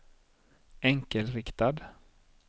enkelriktad